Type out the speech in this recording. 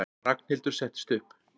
Ragnhildur settist upp.